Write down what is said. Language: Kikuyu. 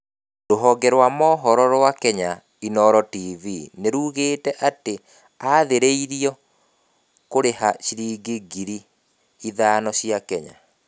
Rũhonge rwa mohoro rwa Kenya, Inooro tv, nĩrugĩte atĩ nĩ aathĩrĩirio kũrĩha ciringi ngiri ithano cia Kenya